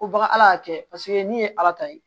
Ko baka ala y'a kɛ paseke ni ye ala ta ye